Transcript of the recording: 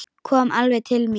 Kom alveg til mín.